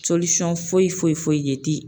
foyi foyi foyi ye ti